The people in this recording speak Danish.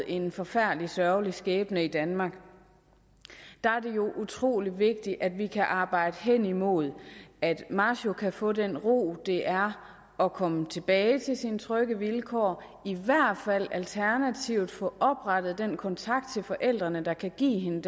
en forfærdelig sørgelig skæbne i danmark er det jo utrolig vigtigt at vi kan arbejde hen imod at masho kan få den ro det er at komme tilbage til sine trygge vilkår alternativt få oprettet den kontakt til forældrene der kan give hende